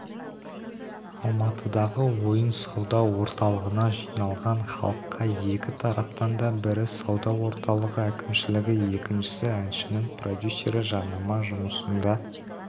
алматыдағы ойын-сауда орталығына жиналған халыққа екі тараптан да бірі сауда орталығы әкімшілігі екіншісі әншінің продюсері жарнама жұмысында